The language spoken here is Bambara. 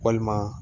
Walima